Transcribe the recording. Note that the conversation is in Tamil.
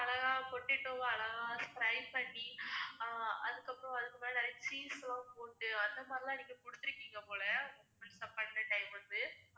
potato வ அழகா fry பண்ணி ஆஹ் அதுக்கப்பறம் அதுக்கு மேல நிறைய cheese லாம் போட்டு, அந்த மாதிரிலாம் நீங்க குடுத்துருக்கீங்க போல once upon a time வந்து